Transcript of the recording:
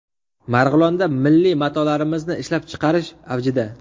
Marg‘ilonda milliy matolarimizni ishlab chiqarish avjida.